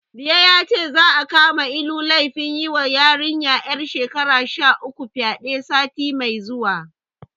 Liye yace, za'a kama Ilu da laifin yiwa yarinya ƴar shekara sha uku fyaɗe, sati mai zuwa.